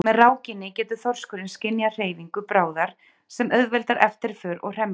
með rákinni getur þorskurinn skynjað hreyfingu bráðar sem auðveldar eftirför og hremmingu